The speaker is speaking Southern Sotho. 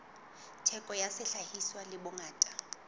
theko ya sehlahiswa le bongata